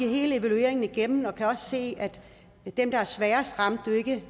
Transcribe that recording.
hele evalueringen igennem og kan også se at dem der er sværest stramt jo ikke